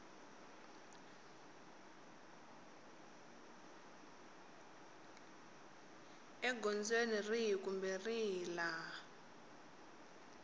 egondzweni rihi kumbe rihi laha